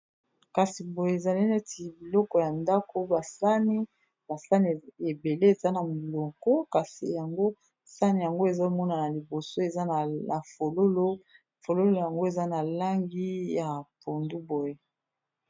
Kasi boye ezali neti biloko ya ndako ba sani, ba sani ebele eza na moloko kasi yango sani yango ezomonana liboso eza na fololo fololo yango eza na langi ya pondu boye.